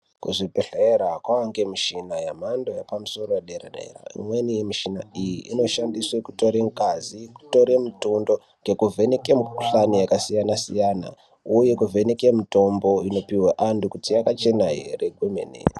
Kuzvibhedhlera kwavane mishina yemhando yepamusoro yedera-dera. Imweni mishina iyo inoshandiswa kutore ngazi, kuvheneka mutundo nekuvheneke mukhuhlani yakasiyana siyana uye kuvheneka mitombo inopiwa antu kuti yakachena ere kwemene.